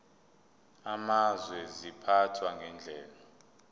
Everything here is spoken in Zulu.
amazwe ziphathwa ngendlela